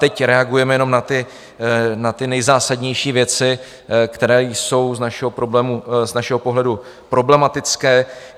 Teď reagujeme jenom na ty nejzásadnější věci, které jsou z našeho pohledu problematické.